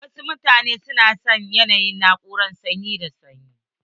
Wasu mutane na son yanayin na'urar sanyi da sanyi.